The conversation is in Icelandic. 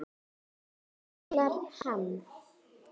kallar hann.